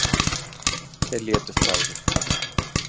Þeir létust báðir